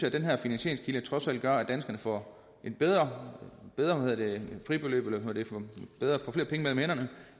at den her finansieringskilde trods alt gør at danskerne får et bedre fribeløb altså